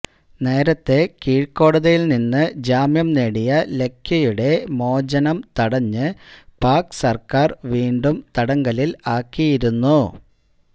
നേരത്തെ കീഴ്ക്കോടതിയില് നിന്ന് ജാമ്യം നേടിയ ലഖ്വിയുടെ മോചനം തടഞ്ഞ് പാക് സര്ക്കാര് വീണ്ടും തടങ്കലില് ആക്കിയിരുന്നു